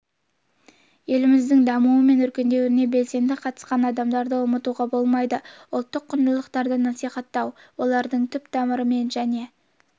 еліміздің дамуы мен өркендеуіне белсенді қатысқан адамдарды ұмытуға болмайды ұлттық құндылықтарды насихаттауға олардың түп-тамырымен және